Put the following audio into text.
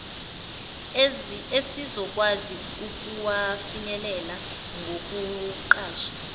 esizokwazi ukuwafinyelela ngokuqasha